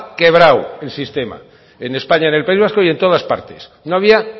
quebrado el sistema en españa en el país vasco y en todas partes no había